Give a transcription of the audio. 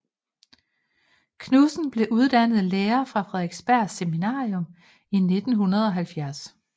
Knudsen blev uddannet lærer fra Frederiksberg Seminarium i 1970